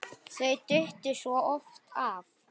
Þau duttu svo oft af.